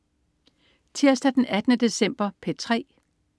Tirsdag den 18. december - P3: